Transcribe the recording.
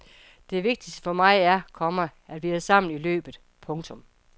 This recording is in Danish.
Det vigtigste for mig er, komma at vi er sammen i løbet. punktum